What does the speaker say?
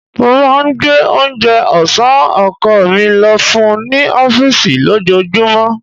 Mo máa ń gbé oúnjẹ ọ̀sán ọkọ̀ mi lọ fún un ní ọfísì lójoojúmọ́